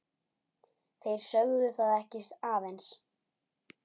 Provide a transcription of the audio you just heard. Þeir sögðu það ekki aðeins.